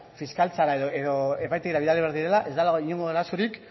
fiskaltzara edo epaitegira bidali behar direla ez dagoela inongo arazorik